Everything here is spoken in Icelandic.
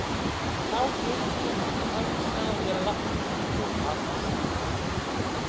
Þá heyri ég það hvæsa að mér lágt og hatursfullt